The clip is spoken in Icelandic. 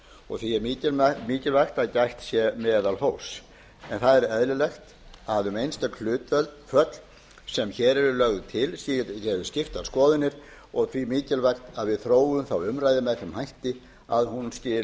og því er mikilvægt að gætt sé meðalhófs en það er eðlilegt að um einstök hlutföll sem hér eru lögð til eru skiptar skoðanir og því mikilvægt að við þróum þá umræðu með þeim hætti að hún skili